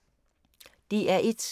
DR1